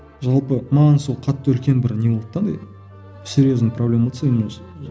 жалпы маған сол қатты үлкен бір не болды да андай серьезный проблема болды